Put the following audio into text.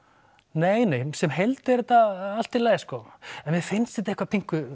nei nei sem heild er þetta allt í lagi sko en mér finnst þetta eitthvað